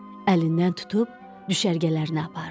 Əlindən tutub düşərgələrinə apardı.